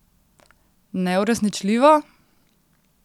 Neuresničljivo?